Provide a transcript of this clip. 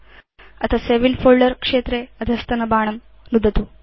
अथ save in folder क्षेत्रे अधस्तनबाणं नुदतु